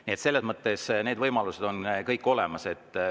Nii et selles mõttes need võimalused on kõik olemas.